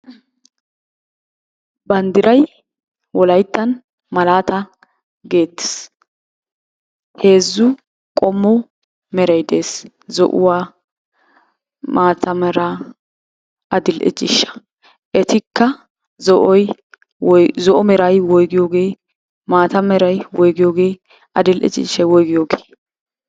Banddray wolayttan malata getees. Heezzu qommo meray des. Zo'uwaa, maata. meraa, adl"e ciishshaa. Etikka zo'oy woy zo'o meray woyggiyooge? Maata meray woyggiyooge? Adl"e ciishshay woyggiyooge?